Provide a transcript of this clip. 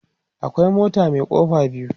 akwai mota Mai kofa biyu